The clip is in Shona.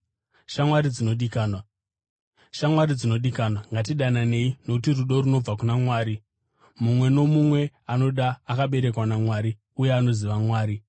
Shamwari dzinodikanwa, ngatidananei, nokuti rudo runobva kuna Mwari. Mumwe nomumwe anoda akaberekwa naMwari uye anoziva Mwari.